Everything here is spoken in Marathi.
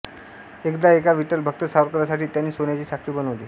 एकदा एका विठ्ठलभक्त सावकारासाठी त्यांनी सोन्याची साखळी बनवली